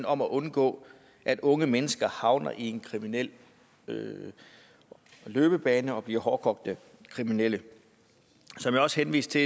om at undgå at unge mennesker havner i en kriminel løbebane og bliver hårdkogte kriminelle som jeg også henviste